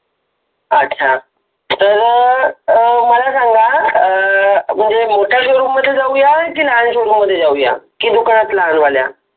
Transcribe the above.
अच्छा तर मला सांगा अं मोठ्या शोरूम मध्ये जाऊया की लहान शोरूम मध्ये जाऊया की दुकानात लहान वाल्या